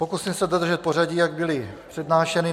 Pokusím se dodržet pořadí, jak byla přednášena.